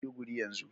Yana Maiduguri yanzu.